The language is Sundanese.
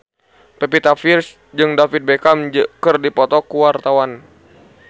Pevita Pearce jeung David Beckham keur dipoto ku wartawan